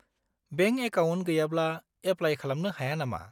-Bank account गैयाब्ला apply खालामनो हाया नामा?